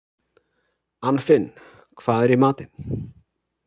Anfinn, hvað er í matinn?